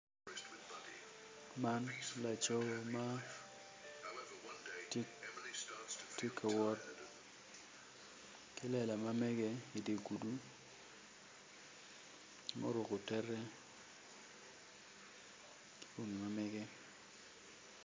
Man laco ma tye ka wot ki lela ma mege idi gudo ma oruko tete ki bongi ma mege.